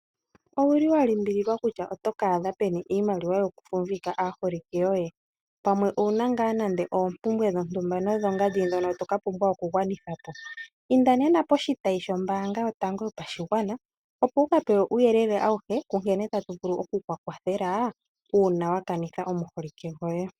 Owuli wa limbililwa kutya otoka adha peni iimaliwa yoku fumbika aaholike yoye pamwe owuna ngaa nande oompumbwe dhontumba nodho ngandi ndhono toka pumbwa oku gwanitha po. Inda nena poshitayi shombaanga yotango yopashigwana opo wuka pewe uuyelele awuhe kunkene tatu vulu okuku kwathela uuna wa kanitha omuholike goye.